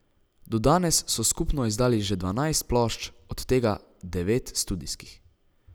Do danes so skupno izdali že dvanajst plošč, od tega devet studijskih.